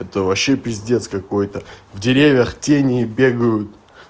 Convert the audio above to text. это вообще пиздец какой-то в деревьях тени бегают